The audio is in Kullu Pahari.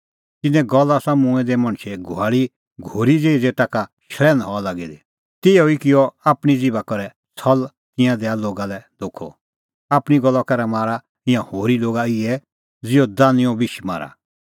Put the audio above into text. तिन्नों गल़ आसा मूंऐं दै मणछे घुआल़ी घोरी ज़ेही ज़ेता का शल़ैन्ह हआ लागी दी तिन्नैं ई किअ आपणीं ज़िभा करै छ़ल़ तिंयां दैआ लोगा लै धोखअ आपणीं गल्ला करै मारा ईंयां होरी लोगा इहै ज़िहअ दानुईंओ बिश मारा